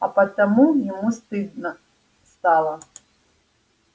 а потому ему стало стыдно